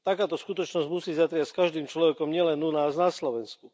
Takáto skutočnosť musí zatriasť každým človekom nielen u nás na Slovensku.